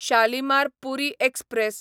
Shalimar Puri express